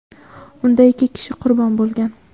Unda ikki kishi qurbon bo‘lgan.